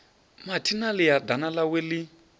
mathina ḽia ḓana ḽawe ḽi